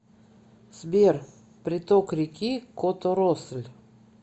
сбер приток реки которосль